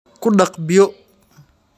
Ku dhaq biyo.